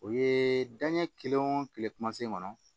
O ye danɲɛ kelen o kelen kuma se kɔnɔ